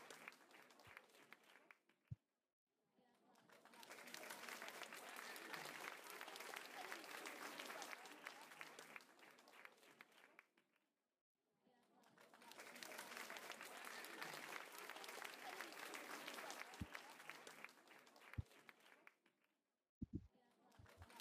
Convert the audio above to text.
Dhugaatii bunaa Jabanaa keessaa gara shiniitti bu'aa jiru akkasumas akaayiin boqqolloo fandishaa irraa akaawame minjaala irra keewwamee jira. Urgooftuun ixaanaas baattuu halluu gurraacha dibameeru irraa aaraa kan jirudha. Fal'aanni bunni sukkaaraa ittiin sochoofamus baattuu shinii irra jira.